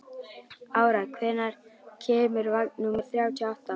Ára, hvenær kemur vagn númer þrjátíu og átta?